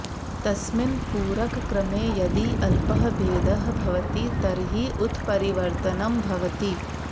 तस्मिन् पूरकक्रमे यदि अल्पः भेदः भवति तर्हि उत्परिवर्तनं भवति